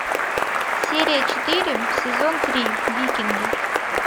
серия четыре сезон три викинги